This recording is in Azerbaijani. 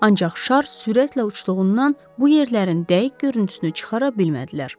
Ancaq şar sürətlə uçduğundan bu yerlərin dəqiq görüntüsünü çıxara bilmədilər.